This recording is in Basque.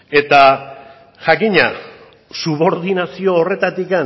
eta jakina subordinazio horretatik